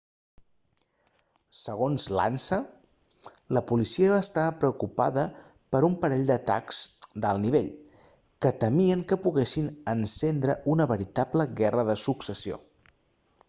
segons l'ansa la policia estava preocupada per un parell d'atacs d'alt nivell que temien que poguessin encendre una veritable guerra de successió